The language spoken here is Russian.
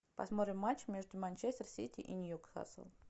посмотрим матч между манчестер сити и ньюкаслом